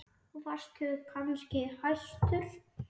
Varst þú kannski hæstur?